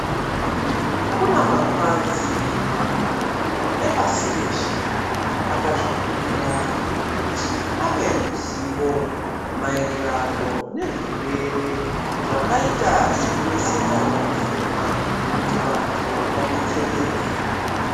Kuna mapazi makuru epasi reshe ,akazvipira kuti ape ruzivo ,maererano nezvirwere zvakaita sekuneseka pakufema, kuti vantu vadetsereke.